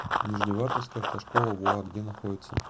нижневартовская автошкола воа где находится